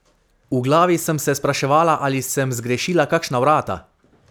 V glavi sem se spraševala, ali sem zgrešila kakšna vrata?